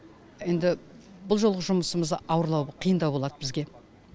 енді бұл жолғы жұмысымыз ауырлау қиындау болады бізге